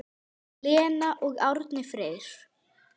Lena og Árni Freyr.